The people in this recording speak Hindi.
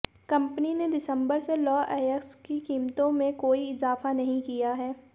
कंपनी ने दिसंबर से लौह अयस्क की कीमतों में कोई इजाफा नहीं किया है